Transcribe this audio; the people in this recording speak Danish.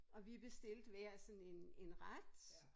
Og vi bestilte hver sådan en en ret